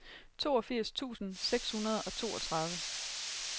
toogfirs tusind seks hundrede og toogtredive